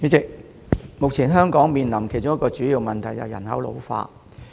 代理主席，目前香港面臨其中一個主要問題，就是人口老化。